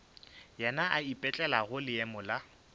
yena a ipetlelago leemo la